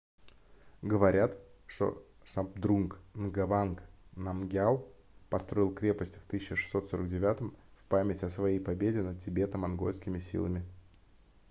говорят что шабдрунг нгаванг намгьял построил крепость в 1649 в память о своей победе над тибето-монгольскими силами